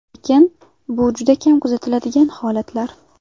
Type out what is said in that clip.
Lekin bu juda kam kuzatiladigan holatlar.